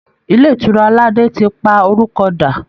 Ilé ìtura aládé ti pa orúkọ dà